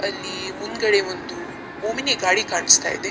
ಅಲ್ಲಿ ಮುಂದ್‌ಗಡೆ ಒಂದು ಒಮ್ನಿ ಗಾಡಿ ಕಾಣಿಸ್ತಾಯಿದೆ.